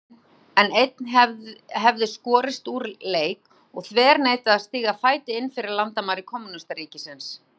Múrinn, en einn hefði skorist úr leik og þverneitað að stíga fæti innfyrir landamæri kommúnistaríkis.